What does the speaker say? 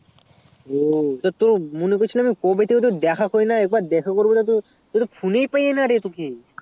ও তো মনে করছিলাম তোর সাথে দেখা করবো তা তুই তোকে phone এই পেয়েনা রে তোকে